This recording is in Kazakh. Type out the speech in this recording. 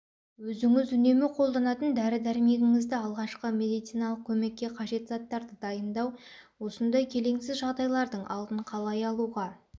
өзініз үнемі қолданатын дәрі-дәрмегіңізді алғашқы медициналық көмекке қажет заттарды дайындау осындай келеңсіз жағдайлардың алдын қалай алуға